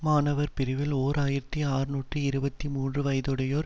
மாணவர் பிரிவில் ஓர் ஆயிரத்தி அறுநூற்று இருபத்தி மூன்று வயதுடையோர்